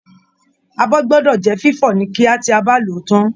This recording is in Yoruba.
Abọ́ gbọdọ jẹ fifọ ni kíá tí a bá lòó tán.